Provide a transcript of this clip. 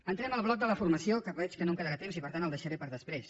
entrem al bloc de la formació que veig que no em quedarà temps i per tant el deixaré per després